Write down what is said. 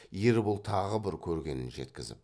ербол тағы бір көргенін жеткізіп